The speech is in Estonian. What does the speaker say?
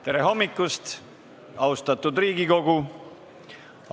Tere hommikust, austatud Riigikogu!